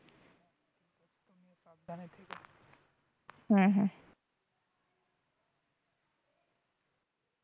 হম হম